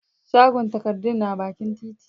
shagon takardun na bakin titi